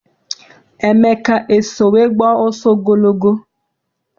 Emeka eso wee gbaa ọsọ ogologo?